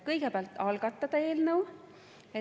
Kõigepealt, algatada eelnõu.